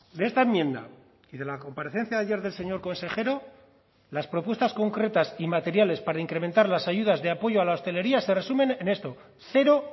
de esta enmienda y de la comparecencia de ayer del señor consejero las propuestas concretas y materiales para incrementar las ayudas de apoyo a la hostelería se resumen en esto cero